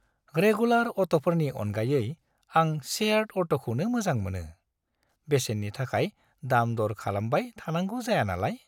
Regular अट'फोरनि अनगायै, आं शेयार्ड अट'खौनो मोजां मोनो, बेसेननि थाखाय दाम-दर खालामबाय थानांगौ जाया नालाय।